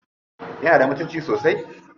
Yana da mutunci sosai?